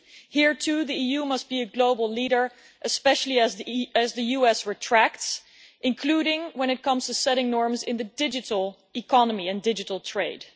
Here, too, the EU must be a global leader, especially as the US retracts, including when it comes to setting norms in the digital economy and digital trade.